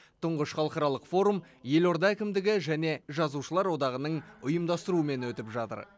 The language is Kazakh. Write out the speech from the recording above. тұңғыш халықаралық форум елорда әкімдігі және жазушылар одағының ұйымдастыруымен өтіп жатыр